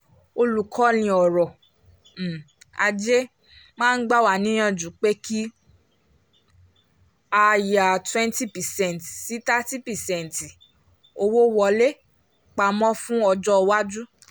olùkọ́ni ọrọ̀ um ajé máa ń gbà níyànjú pé kí a yà twenty percent sí thirty percent owó-wọlé pamọ́ fún ọjọ́ iwájú